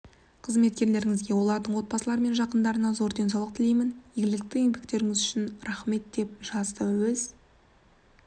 қызметкерлеріңізге олардың отбасылары мен жақындарына зор деңсаулық тілеймін игілікті еңбектеріңіз үшін рахмет деп жазды өз